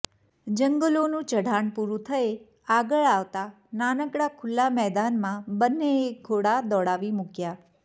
જંગલોનું ચઢાણ પૂરું થયે આગળ આવતા નાનકડા ખુલ્લા મેદાનમાં બંનેએ ઘોડા દોડાવી મૂક્યા